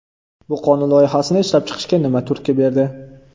Bu qonun loyihasini ishlab chiqishga nima turtki berdi?